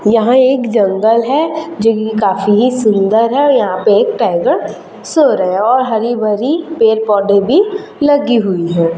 यहां एक जंगल है जो की काफी सुंदर है यहां पे एक टाइगर सो रहा हैं और हरी भरी पेड़ पौधे भी लगी हुई है।